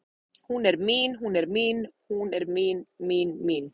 Hún er mín, hún er mín, hún er mín, mín, mín